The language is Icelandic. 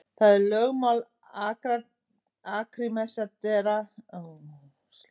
Það er lögmál Arkímedesar sem segir til um þetta.